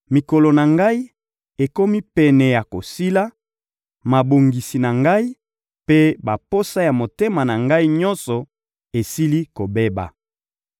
Mikolo na ngai ekomi pene ya kosila; mabongisi na ngai mpe baposa ya motema na ngai, nyonso, esili kobeba.